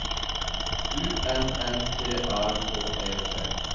U N N T A K E T